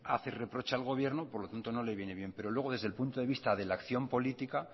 hace reproche al gobierno por lo tanto no le viene bien pero luego desde el punto de vista de la acción política